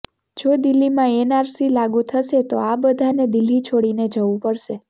જો દિલ્હીમાં એનઆરસી લાગૂ થશે તો આ બધાને દિલ્હી છોડીને જવું પડશે